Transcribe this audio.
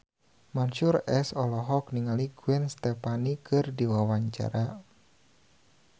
Mansyur S olohok ningali Gwen Stefani keur diwawancara